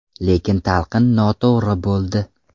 Lekin talqin noto‘g‘ri bo‘ldi.